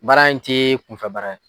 Baara in tɛ kunfɛ baara ye.